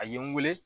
A ye n wele